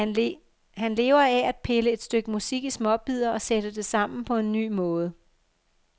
Han lever af at pille et stykke musik i småbidder og sætte det sammen på en ny måde.